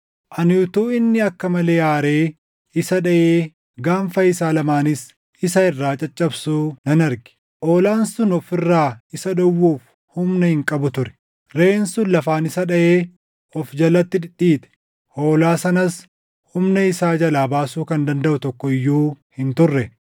Ani utuu inni akka malee aaree isa dhaʼee gaanfa isaa lamaanis isa irraa caccabsuu nan arge. Hoolaan sun of irraa isa dhowwuuf humna hin qabu ture; reʼeen sun lafaan isa dhaʼee of jalatti dhidhiite; hoolaa sanas humna isaa jalaa baasuu kan dandaʼu tokko iyyuu hin turre.